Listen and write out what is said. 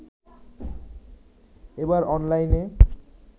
এবার অনলাইনে